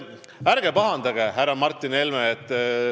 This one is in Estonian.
Nii et ärge pahandage, härra Martin Helme!